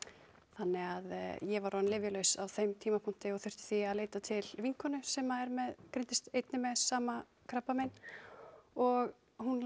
þannig að ég var orðin lyfjalaus á þeim tímapunkti og þurfti því að leita til vinkonu sem greindist einnig með sama krabbamein og hún